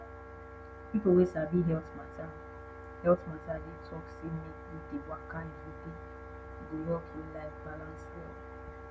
pipo wey sabi health matta health matta dey talk say make we dey waka every day e go help your life balance well